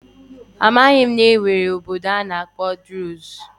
Amaghị m na e nwere okpukpe a na-akpọ druze